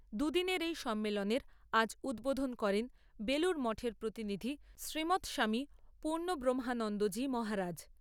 দুদিনের এই সম্মেলনের আজ উদ্বোধন করেন বেলুর মঠের প্রতিনিধি শ্রীমৎ স্বামী পূর্ণব্রহ্মানন্দজী মহারাজ।